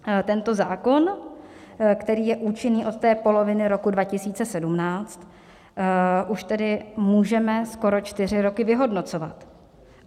Tento zákon, který je účinný od té poloviny roku 2017, už tedy můžeme skoro čtyři roky vyhodnocovat.